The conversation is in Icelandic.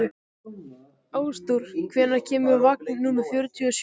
Ásdór, hvenær kemur vagn númer fjörutíu og sjö?